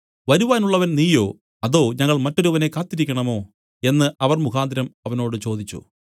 വരുവാനുള്ളവൻ നീയോ അതോ ഞങ്ങൾ മറ്റൊരുവനെ കാത്തിരിക്കണമോ എന്നു അവർ മുഖാന്തരം അവനോട് ചോദിച്ചു